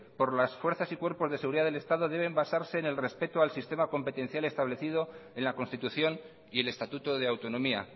por los fuerzas y cuerpos de seguridad del estado deben basarse en el respeto al sistema competencial establecido en la constitución y el estatuto de autonomía